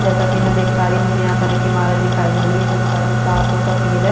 जैसा की मे देख पा रही हू मुझे यहाँ पर एक इमारत जिसका रंग साफ़ और सफ़ेद है।